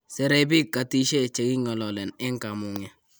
Serei biik katishe che king'ololen eng kamung'e.